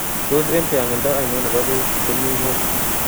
Tos' eng' tyang'indo ainon ne po beek komi ng'wony